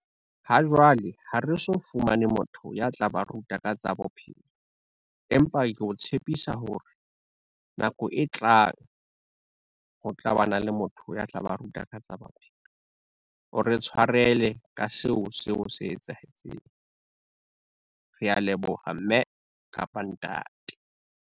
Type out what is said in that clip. Ha jwale ha re so fumane motho ya tla ba ruta ka tsa bophelo, empa ke o tshepisa hore nako e tlang, ho tlabana le motho ya tla ba ruta ka tsa bophelo. O re tshwarele ka seo, seo se etsahetseng. Rea leboha mme kapa ntate.